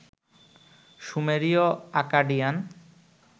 সুমেরীয় Acadian